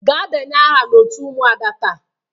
Gaa denye aha n'otu ụmụada taa!